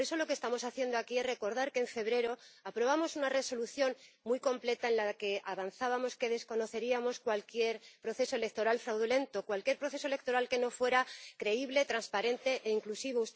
Por eso lo que estamos haciendo aquí es recordar que en febrero aprobamos una Resolución muy completa en la que avanzábamos que desconoceríamos cualquier proceso electoral fraudulento, cualquier proceso electoral que no fuera creíble, transparente e inclusivo.